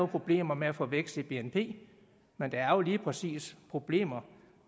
problemer med at få en vækst i bnp men der er jo lige præcis problemer